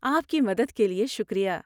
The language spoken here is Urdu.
آپ کی مدد کے لیے شکریہ۔